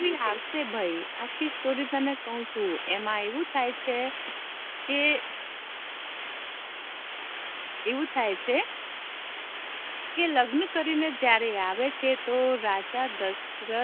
એબી આવશે ભાઈ આખી સ્ટોરી તને કવ છુ અમા આવું થાય છે કે અવુ થાય છે કે લગ્ન કરી ને આવે છે ત્યારે રાજા દશરથ